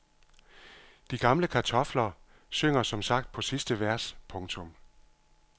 De gamle kartofler synger som sagt på sidste vers. punktum